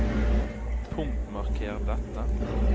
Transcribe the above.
Punktmarker dette